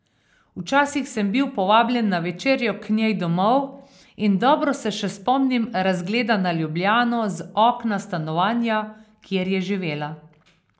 Včasih sem bil povabljen na večerjo k njej domov in dobro se še spomnim razgleda na Ljubljano z okna stanovanja, kjer je živela.